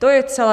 To je celé.